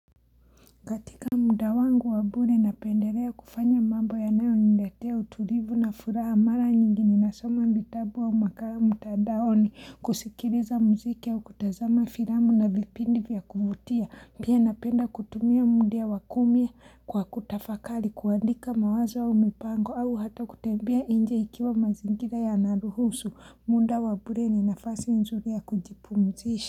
Katika muda wangu wa bure napendelea kufanya mambo yanayoniletea utulivu na furaha mara nyingi ninasoma vitabu au makala mtandaoni kusikiliza muziki au kutazama firamu na vipindi vya kuvutia. Pia, napenda kutumia mundia wa kumi kwa kutafakari kuandika mawazo au mipango au hata kutembea nje ikiwa mazingira yanaruhusu muda wa bure ni nafasi nzuri ya kujipumzisha.